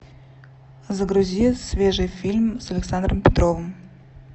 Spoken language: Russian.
загрузи свежий фильм с александром петровым